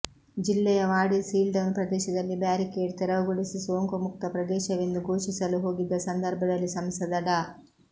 ಜಿಲ್ಲೆಯ ವಾಡಿ ಸೀಲ್ಡೌನ್ ಪ್ರದೇಶದಲ್ಲಿ ಬ್ಯಾರಿಕೇಡ್ ತೆರವುಗೊಳಿಸಿ ಸೋಂಕು ಮುಕ್ತ ಪ್ರದೇಶವೆಂದು ಘೋಷಿಸಲು ಹೋಗಿದ್ದ ಸಂದರ್ಭದಲ್ಲಿ ಸಂಸದ ಡಾ